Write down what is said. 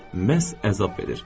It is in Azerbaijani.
Məhz əzab verir.